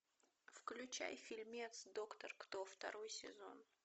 включай фильмец доктор кто второй сезон